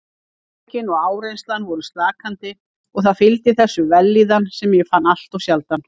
Átökin og áreynslan voru slakandi og það fylgdi þessu vellíðan sem ég fann alltof sjaldan.